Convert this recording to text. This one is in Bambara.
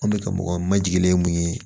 An de ka mɔgɔ ma jigilen ye mun ye